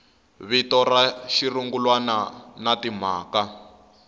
vito ra xirungulwana na timhaka